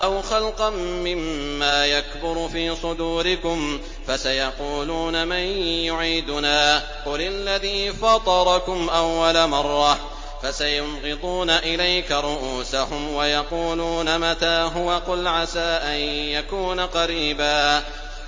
أَوْ خَلْقًا مِّمَّا يَكْبُرُ فِي صُدُورِكُمْ ۚ فَسَيَقُولُونَ مَن يُعِيدُنَا ۖ قُلِ الَّذِي فَطَرَكُمْ أَوَّلَ مَرَّةٍ ۚ فَسَيُنْغِضُونَ إِلَيْكَ رُءُوسَهُمْ وَيَقُولُونَ مَتَىٰ هُوَ ۖ قُلْ عَسَىٰ أَن يَكُونَ قَرِيبًا